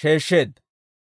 sheeshsheedda.